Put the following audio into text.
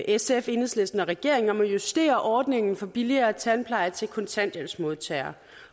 sf enhedslisten og regeringen om at justere ordningen for billigere tandpleje til kontanthjælpsmodtagere